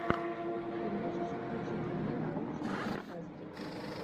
ты можешь включить не научную фантастику